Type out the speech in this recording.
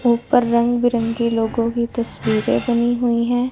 ऊपर रंग बिरंगी लोगों की तस्वीरे बनी हुई है।